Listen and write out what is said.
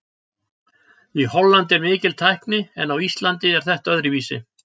Í Hollandi er mikil tækni en á Íslandi er þetta öðruvísi.